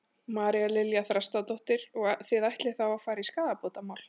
María Lilja Þrastardóttir: Og þið ætlið þá að fara í skaðabótamál?